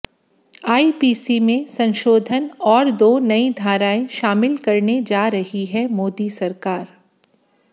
IPC में संशोधन और दो नई धाराएं शामिल करने जा रही है मोदी सरकार